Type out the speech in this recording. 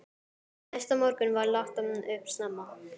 Næsta morgun var lagt upp snemma.